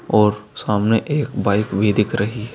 और सामने एक बाइक भी दिख रही है।